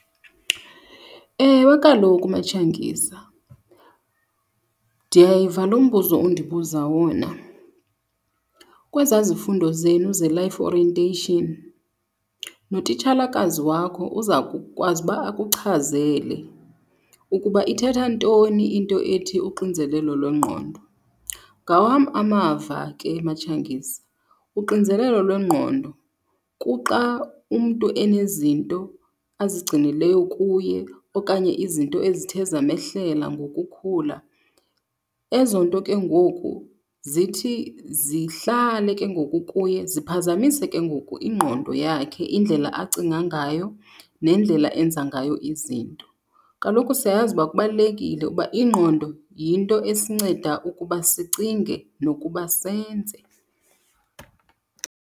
Ewe, kaloku, MaTshangisa, ndiyayiva lo mbuzo undibuza wona. Kwezaa zifundo zenu ze-life orientation notitshalakazi wakho uza kukwazi uba akuchazele ukuba ithetha ntoni into ethi uxinzelelo lwengqondo. Ngawam amava ke, MaTshangisa, uxinzelelo lwengqondo kuxa umntu enezinto azigcinileyo kuye okanye izinto ezithe zamehlela ngokukhula. Ezo nto ke ngoku zithi zihlale ke ngoku kuye ziphazamise ke ngoku ingqondo yakhe, indlela acinga ngayo, nendlela enza ngayo izinto. Kaloku siyayazi uba kubalulekile uba ingqondo yinto esinceda ukuba sicinge nokuba senze.